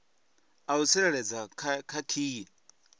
a u tsireledza kha khiyi